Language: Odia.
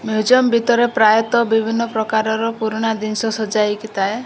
ମ୍ୟୁଜଅମ୍ ଭିତରେ ପ୍ରାୟତଃ ବିଭିନ୍ନ ପ୍ରକାରର ପୁରୁଣା ଦିନି୍ଷ ସଜାଇକି ଥାଏ।